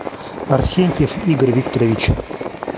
арсентьев игорь викторович